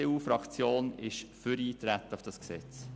Die EDU-Fraktion ist für Eintreten auf das Gesetz.